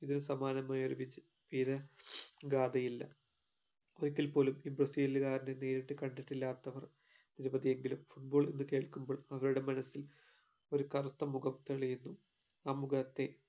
ഇതിന് സമാനമായ ഒരു വിച് പേര് ഗാഥയില്ല ഒരിക്കൽപോലും ഈ ബ്രസീലുകാരനെ നേരിട്ട് കണ്ടിട്ടില്ലാത്തവർ നിരവധിയെങ്കിലും football എന്ന് കേൾക്കുമ്പോൾ അവരുടെ മനസ്സിൽ ഒരു കറുത്ത മുഖം തെളിയുന്നു ആ മുഖത്തെ